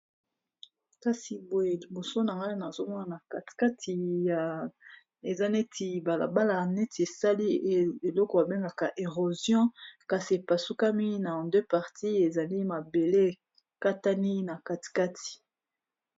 Kasi boye liboso na nga nazomona na katikati ya eza neti balabala, neti esali eloko babengaka erosion kasi epasukami na 2 partis ezali mabele katani na katikati